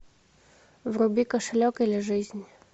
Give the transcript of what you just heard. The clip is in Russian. вруби кошелек или жизнь